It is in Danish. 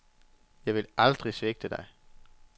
Jeg vil aldrig svigte dig.